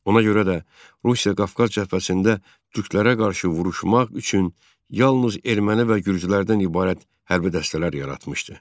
Ona görə də Rusiya Qafqaz cəbhəsində türklərə qarşı vuruşmaq üçün yalnız erməni və gürcülərdən ibarət hərbi dəstələr yaratmışdı.